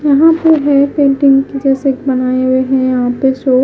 यहां पे है पेंटिंग जैसे बनाए है यहां पे जो--